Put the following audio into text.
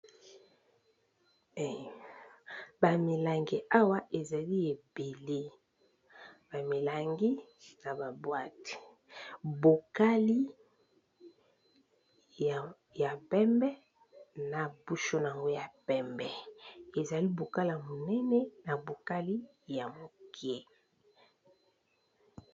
Ba milangi awa ezali ebele ba milangi na babwate bokali ,ya pembe na busho na ngo ya pembe ezali bokala monene na bokali ya moke.